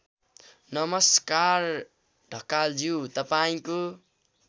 नमस्कार ढकालज्यू तपाईँको